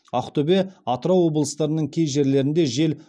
ақтөбе атырау облыстарының кей жерлерінде жел